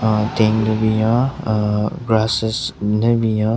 Aaaa tent le binyon aaaa grasses den binyon.